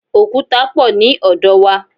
Òkúta pọ̀ ní ọ̀dọ̀ wa.